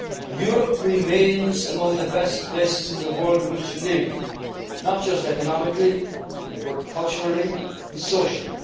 actually achieved. Europe remains among the best places in the world in which to live, not just economically, but culturally